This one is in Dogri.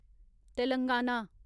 तेलंगाना